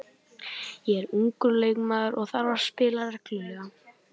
Ég er ungur leikmaður og þarf að spila reglulega.